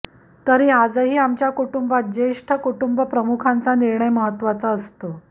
तरी आजही आमच्या कुटुंबात ज्येष्ठ कुटुंबप्रमुखांचा निर्णय महत्त्वाचा असतो